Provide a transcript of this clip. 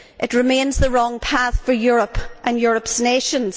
It remains the wrong path for Europe and Europe's nations.